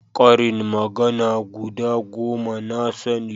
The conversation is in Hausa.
ƙarin magana guda goma na sani